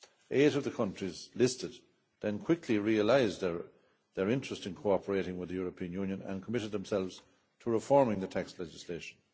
Eight of the countries listed then quickly realised their interest in cooperating with the European Union and committed themselves to reforming their tax legislation.